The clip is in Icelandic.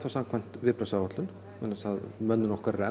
samkvæmt viðbragðsáætlun vegna þess að mönnun okkar er